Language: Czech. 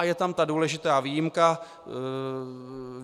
A je tam ta důležitá výjimka.